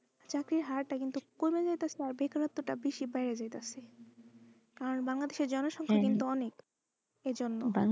চাকরির হারটা কিন্তু কমে যাইতেছে অরে বেকারত্বটা বেড়ে যাইতেছে আর Bangladesh এ জনসংখ্যা কিন্তু অনেক এই জন্য।